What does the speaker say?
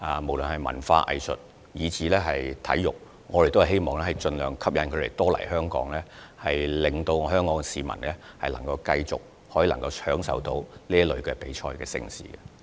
無論是文化、藝術及體育活動，我們都希望盡量吸引來自世界各地的主辦者來港，令市民繼續享受各類比賽和盛事。